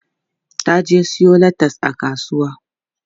Ta je siyo latas a kasuwa.